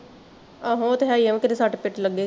ਆਹੋ ਉਹ ਤਾਂ ਹੈ ਈ ਆ ਵੀ ਕਿਤੇ ਸੱਟ ਫੇਟ ਲੱਗੇਗੀ